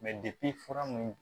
Mɛ fura mun